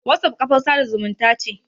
WhatsApp kafar sada zumunta ce.